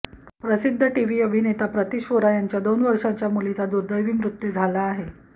प्रसिद्ध टीव्ही अभिनेता प्रतिश वोरा यांच्या दोन वर्षांच्या मुलीचा दुर्दैवी मृत्यू झाला आहे